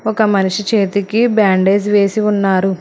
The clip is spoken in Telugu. ఒక మనిషి చేతికి బ్యాండేజ్ వేసి ఉన్నారు.